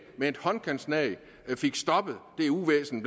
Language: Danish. med et håndkantslag fik stoppet det uvæsen